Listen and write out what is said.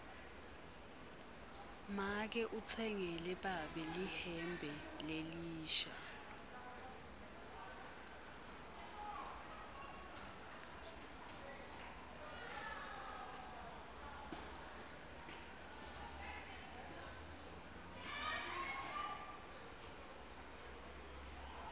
make utsengele babe lihembe lelisha